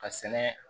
Ka sɛnɛ